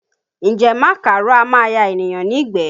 Ǹjẹ́ màkàró á máa ya ènìyàn nígbẹ̀ẹ?